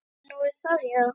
Nú, er það já.